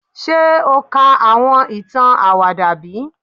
Ṣe o ka awọn itan awada bi?